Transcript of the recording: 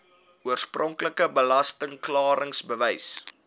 oorspronklike belasting klaringsbewys